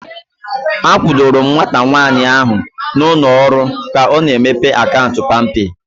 A kwudoro m nwata nwaanyị ahu na ụlọ ọrụ ka ọ na-emepe akaụntụ palmpay